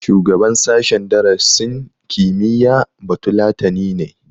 Shugaban sashen darasin kimiyya batulatani ne